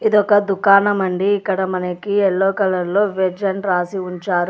ఇదొక దుకాణం అండి. ఇక్కడ మనకి ఎల్లో కలర్లో వెజ్ అని రాసి ఉంచారు.